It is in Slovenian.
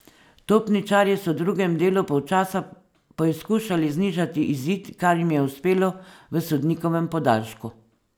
Topničarji so v drugem delu polčasa poizkušali znižati izid, kar jim je uspelo v sodnikovem podaljšku.